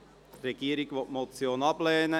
Die Regierung will diese Motion ablehnen.